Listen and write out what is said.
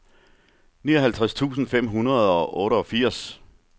nioghalvtreds tusind fem hundrede og otteogfirs